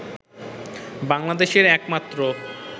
বাংলাদেশের একমাত্র